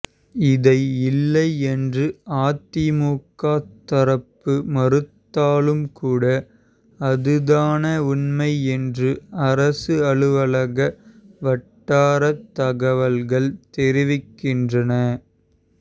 இதை இல்லை என்று அதிமுக தரப்பு மறுத்தாலும் கூட அதுதான உண்மை என்று அரசு அலுவலக வட்டாரத் தகவல்கள் தெரிவிக்கின்றன